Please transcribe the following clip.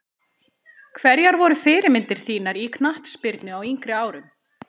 Hverjar voru fyrirmyndir þínar í knattspyrnu á yngri árum?